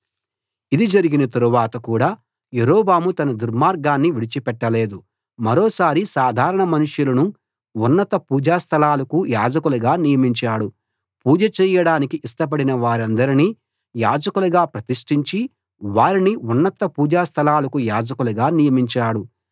ఇది జరిగిన తరువాత కూడా యరొబాము తన దుర్మార్గాన్ని విడిచిపెట్టలేదు మరో సారి సాధారణ మనుషులను ఉన్నత పూజాస్థలాలకు యాజకులుగా నియమించాడు పూజ చేయడానికి ఇష్టపడిన వారందరినీ యాజకులుగా ప్రతిష్ఠించి వారిని ఉన్నత పూజా స్థలాలకు యాజకులుగా నియమించాడు